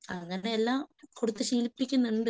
അങ്ങനെ എല്ലാം കൊടുത്ത്‌ ശീലിപ്പിക്കുന്നുണ്ട്.